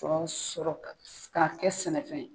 Sɔ sɔrɔ ka kɛ sɛnɛ fɛn ye